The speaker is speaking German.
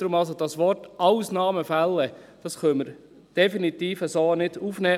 Deshalb können wir das Wort «Ausnahmefälle» so definitiv nicht aufnehmen.